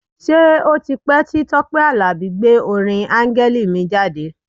Ṣé ó ti pẹ́ tí Tọ́pẹ́ Àlàbí gbé orin Áńgẹ́lì mi jáde?